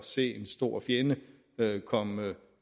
se en stor fjende komme